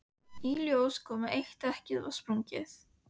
Í ljós kom að eitt dekkið var sprungið.